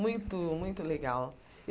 Muito, muito legal.